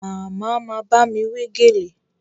Màmá ma bámi wé gèlè